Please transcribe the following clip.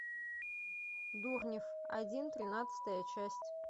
дурнев один тринадцатая часть